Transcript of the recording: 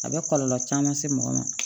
A bɛ kɔlɔlɔ caman se mɔgɔ ma